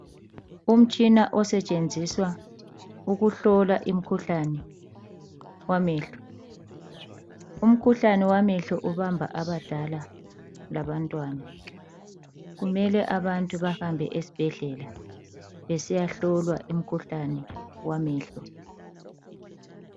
Umtshina osetshenziswa ukuhlola imkhuhlane wamehlo. Umkhuhlane wamehlo ubamba abadala labantwana. Kumele abantu bahambe esibhedlela besiyahlolwa imkhuhlane wamehlo.